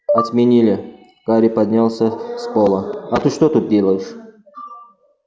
отменили гарри поднялся с пола а ты что тут делаешь